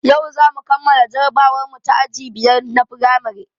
Yau zamu kammala jarabawarmu ta aji biyar na firamare